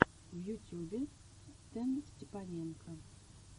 в ютюбе стэнстепаненко